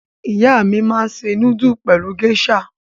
Ìyá mi máa ń se núdúlù pẹ̀lú géíṣà.